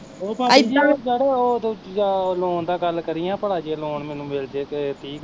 ਓਹ ਭਾਬੀ ਜੀ ਓਹ ਜਿਹੜੇ ਓਹ ਦੂਜਾ loan ਦਾ ਗੱਲ ਕਰੀ ਹਾਂ ਭਲਾ ਜੇ loan ਮੈਨੂੰ ਮਿਲਜੇ ਏਹ ਤੀਹ ਕੁ ਹਜ਼ਾਰ